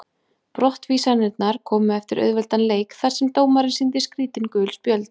Brottvísanirnar komu eftir auðveldan leik þar sem dómarinn sýndi skrítin gul spjöld.